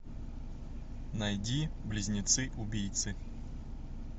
найди близнецы убийцы